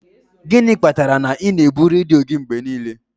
Gịnị kpatara na ị na-ebu redio gị mgbe niile?